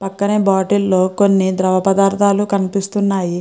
పక్కనే బాటిల్ లో కొన్ని ద్రవపదార్థాలు కనిపిస్తున్నాయి.